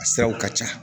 A siraw ka ca